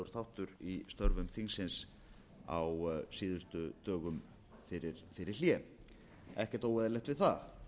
óeðlilegur þáttur í störfum þingsins á síðustu dögum fyrir hlé ekkert óeðlilegt við það